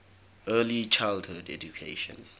early childhood education